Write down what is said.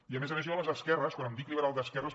i a més a més jo a les esquerres quan em dic liberal d’esquerres